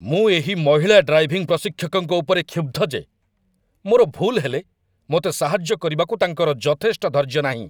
ମୁଁ ଏହି ମହିଳା ଡ୍ରାଇଭିଂ ପ୍ରଶିକ୍ଷକଙ୍କ ଉପରେ କ୍ଷୁବ୍ଧ ଯେ ମୋର ଭୁଲ୍ ହେଲେ ମୋତେ ସାହାଯ୍ୟ କରିବାକୁ ତାଙ୍କର ଯଥେଷ୍ଟ ଧୈର୍ଯ୍ୟ ନାହିଁ